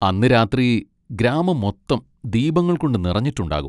അന്ന് രാത്രി ഗ്രാമം മൊത്തം ദീപങ്ങൾ കൊണ്ട് നിറഞ്ഞിട്ടുണ്ടാകും.